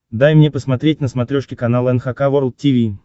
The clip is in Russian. дай мне посмотреть на смотрешке канал эн эйч кей волд ти ви